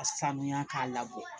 Ka sanuya k'a labɔ